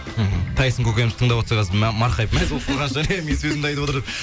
мхм тайсон көкеміз тыңдап отырса қазір марқайып мәз болып қалған шығар иә менің сөзімді айтып отыр деп